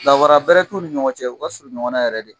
Danfara bɛrɛ t'u ni ɲɔgɔn cɛ u ka surun ɲɔgɔn na yɛrɛ de